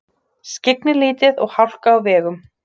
Skyggni lítið og hálka á vegum